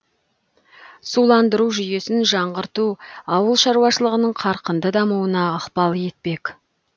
суландыру жүйесін жаңғырту ауыл шаруашылығының қарқынды дамуына ықпал етпек